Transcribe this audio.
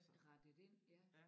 Rettet ind ja